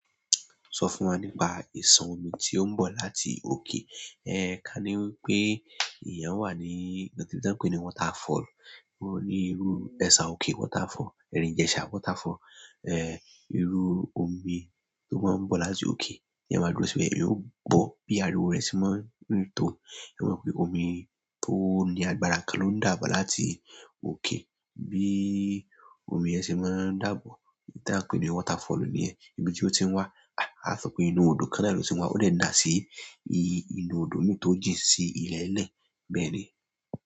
So fún wa nípa isan omi ti oun bo láti oke ẹ̀ẹ̀, ká ní wípé ìyan wà ní ibi tí won pè ní waterfall. Wọ́n ní irú Ẹ̀ṣà òkè waterfall, Ẹ̀rìn Ijesa waterfall. Ẹ̀ẹ̀, irú omi tó máa ń bọ̀ láti òkè. Ìyan máa dúró si be, íyan o gbo bi ariwo rẹ ṣe máa ń rin tó. Mo pẹ́ omi tó ní agbára kan ló ń dàbọ̀ láti òkè. Bí i omi yẹn ṣe máa ń dàbọ̀, tí a ń pè ní waterfall nìyẹn. Ibi tí ó ti ń wá, a sọ pé inú odò kan ni ó ti ń wá ó dèn daa sí i inú odò mì tó jìn sí ilẹ̀ẹ́lẹ̀ bẹ́ẹ̀ni.